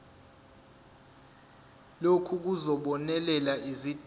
lokhu kuzobonelela izidingo